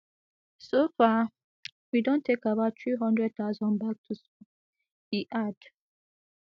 so far we don take about three hundred thousand back to school e add